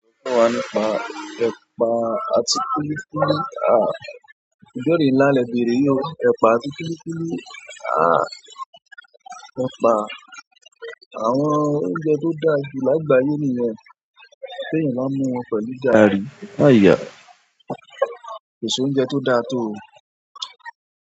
Ko wa nípa ẹ̀pà àti kulikuli àà? Ìbéèrè ńlá lè béèrè yi ó ẹ̀pà àti kulikuli àà. Ẹ̀pà àwọn oúnjẹ tó dáa jù lágbàáyé nìyẹn tí èèyàn bá mú wọn pẹ̀lú gaàrí. Láì yá, kò sí oúnjẹ tó dáa tó òun.